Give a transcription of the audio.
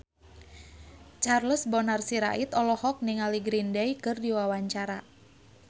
Charles Bonar Sirait olohok ningali Green Day keur diwawancara